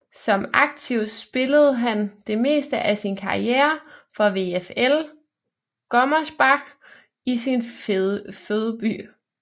Som aktiv spillede han det meste af sin karriere for VfL Gummersbach i sin fødeby